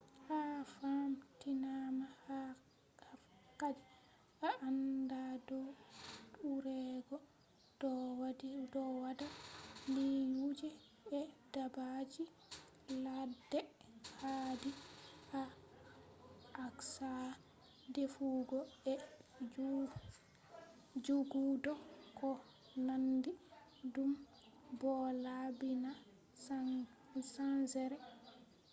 ha famtinama haadi a aanda dow urego do wadda liiyuuje e daabbaji laadde ,haadi a accha defugo e jogudo ko naandi dum bo laabbina saangere